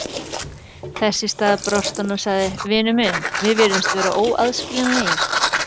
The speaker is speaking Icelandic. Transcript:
Þess í stað brosti hann og sagði: Vinur minn, við virðumst vera óaðskiljanlegir